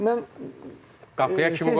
Mən qapıya kim qoyardı?